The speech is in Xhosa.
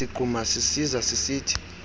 sigquma sisiza sisithi